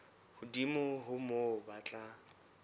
hodimo ho moo ba tla